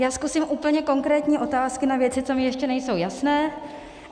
Já zkusím úplně konkrétní otázky na věci, co mi ještě nejsou jasné.